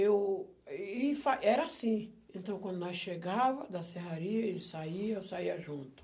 O... e era assim, então quando nós chegava da serraria, ele saia, eu saia junto.